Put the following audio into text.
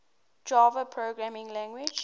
java programming language